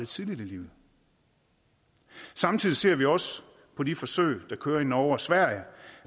tidligt i livet samtidig ser vi også på de forsøg der kører i norge og sverige